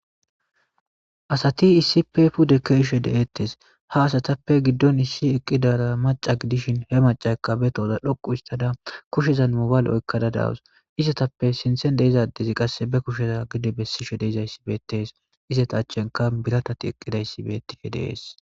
Asati issip puude kihid deeettes ha asatappe giddon issi eqqidara maca gidishin he macakka be tooza dhoqu istada kushezan mobaale oykkada dawus isatappe sinthen deizaddezi qasse be kusheza gide bessishe deizayssi beetees isata achenka biratati eqqidayssi beettife deees.